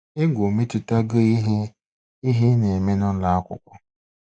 Egwu o metụtago ihe ị ihe ị na-eme n'ụlọ akwụkwọ.